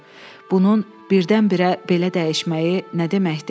Bunun birdən-birə belə dəyişməyi nə deməkdir?